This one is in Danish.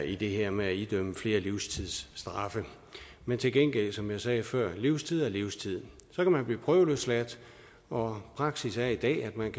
i det her med at idømme flere livstidsstraffe men til gengæld som jeg sagde før livstid er livstid så kan man blive prøveløsladt og praksis er i dag at man